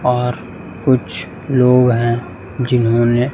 और कुछ लोग हैं जिन्होंने--